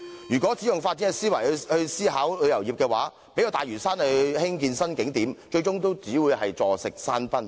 如果只用發展思維來思考旅遊業，即使用大嶼山興建新景點，最終也只會坐食山崩。